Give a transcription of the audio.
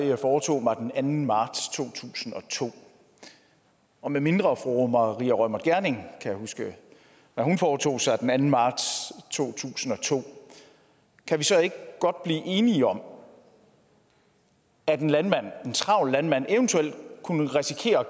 jeg foretog mig den anden marts to tusind og to og medmindre fru maria reumert gjerding kan huske hvad hun foretog sig den anden marts to tusind og to kan vi så ikke godt blive enige om at en travl landmand eventuelt kunne risikere